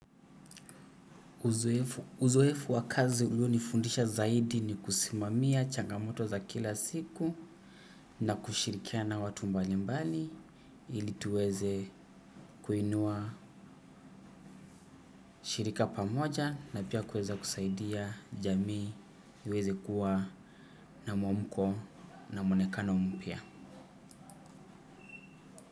Uzoefu wa kazi ulionifundisha zaidi ni kusimamia changamoto za kila siku na kushirikiana na watu mbali mbali ili tuweze kuinua shirika pamoja na pia kuweza kusaidia jamii iweze kuwa na mwamko na mwonekano mpya.